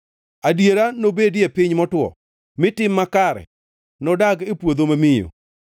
Adiera nobedie e piny motwo, mi tim makare nodag e puodho mamiyo.